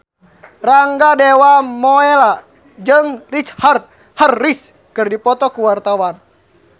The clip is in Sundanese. Rangga Dewamoela jeung Richard Harris keur dipoto ku wartawan